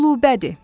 Qulubədir.